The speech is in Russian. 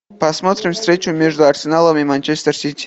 посмотрим встречу между арсеналом и манчестер сити